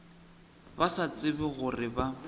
ba sa tsebe gore ba